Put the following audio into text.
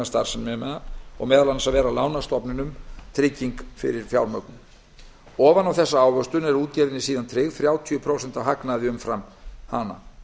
starfsemina og meðal annars vera lánastofnunum trygging fyrir fjármögnun ofan á þessa ávöxtun eru útgerðinni síðan tryggð þrjátíu prósent af hagnaði umfram hana